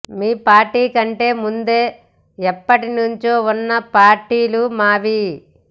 మీ party కంటే ముందే ఎప్పటి నుంచో ఉన్న పార్టీలు మావి